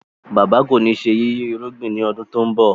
Bàbá kọ ní ṣe yiyi irúgbìn ni ọdún to ń bó.